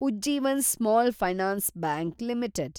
Ujjivan small finance bank limited